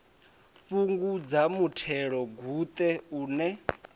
fhungudza muthelogu ṱe u ne